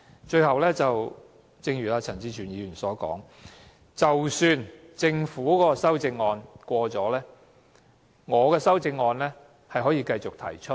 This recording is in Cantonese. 最後，正如陳志全議員所說，即使政府提出的修正案獲得通過，我仍可動議我的修正案。